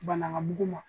Bana ŋa mugu ma